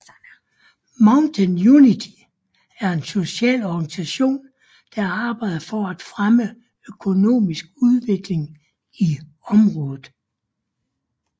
Mountain Unity er en socialt organisation der arbejder for at fremme økonomisk udvikling i området